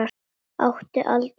Átti aldrei sjens.